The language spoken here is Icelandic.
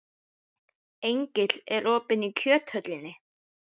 Engill, er opið í Kjöthöllinni?